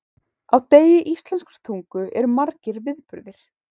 Á degi íslenskrar tungu eru margir viðburðir.